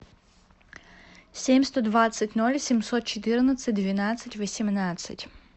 семь сто двадцать ноль семьсот четырнадцать двенадцать восемнадцать